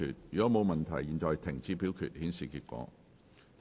如果沒有問題，現在停止表決，顯示結果。